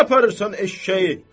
Hara aparırsan eşşəyi?